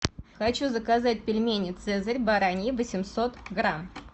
хочу заказать пельмени цезарь бараньи восемьсот грамм